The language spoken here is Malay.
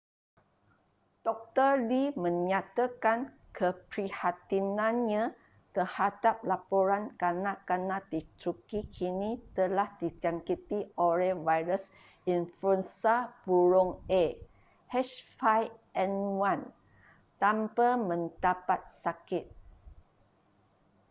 doktor lee menyatakan keprihatinannya terhadap laporan kanak-kanak di turki kini telah dijangkiti oleh virus influenza burung a h5n1 tanpa mendapat sakit